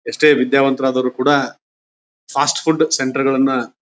ಎಷ್ಟೇ ವಿದ್ಯಾವಂತರು ಆದರೂ ಕೂಡ ಫಾಸ್ಟ್ ಫುಡ್ ಸೆಂಟರ್ ಗಳನ್ನ--